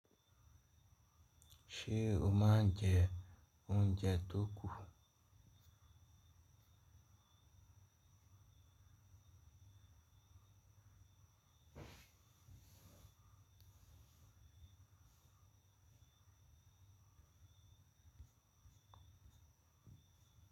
Ṣé o máa ń jẹ oúnjẹ tó kù?